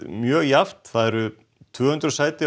mjög jafnt það eru tvö hundruð sæti